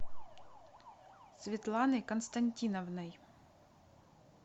светланой константиновной